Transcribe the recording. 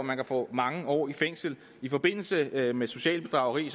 man kan få mange år i fængsel i forbindelse med med socialt bedrageri